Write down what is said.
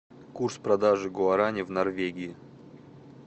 курс продажи гуарани в норвегии